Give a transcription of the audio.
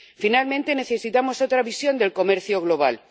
Finalmente, necesitamos otra visión del comercio global.